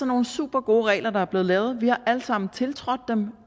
nogle supergode regler der er blevet lavet vi har alle sammen tiltrådt dem